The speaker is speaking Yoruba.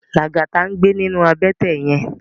Lagata n gbé ninú àbètè yèn